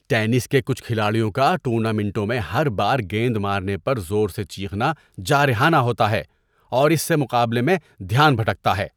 ‏Tennis کے کچھ کھلاڑیوں کا ٹورنامنٹوں میں ہر بار گیند مارنے پر زور سے چیخنا جارحانہ ہوتا ہے اور اس سے مقابلے میں دھیان بھٹکتا ہے۔